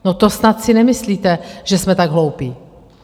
No, to snad si nemyslíte, že jsme tak hloupí.